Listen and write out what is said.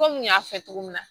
Komi n y'a fɔ cogo min na